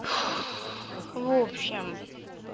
в общем